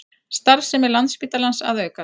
Starfsemi Landspítalans að aukast